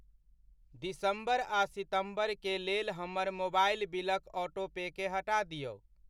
दिसम्बर आ सितम्बर के लेल हमर मोबाइल बिलक ऑटो पेकेँ हटा दिऔ।